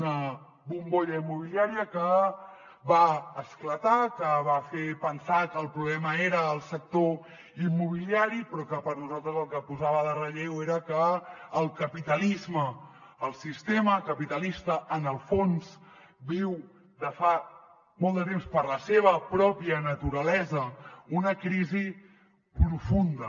una bombolla immobiliària que va esclatar que va fer pensar que el problema era el sector immobiliari però que per a nosaltres el que posava de relleu era que el capitalisme el sistema capitalista en el fons viu de fa molt de temps per la seva pròpia naturalesa una crisi profunda